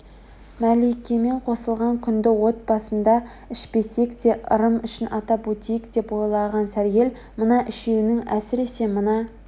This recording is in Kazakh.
мәликемен қосылған күнді от басында ішпесек те ырым үшін атап өтейік деп ойлаған сәргел мына үшеуінің әсіресе мына